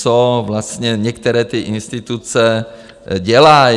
Co vlastně některé ty instituce dělají?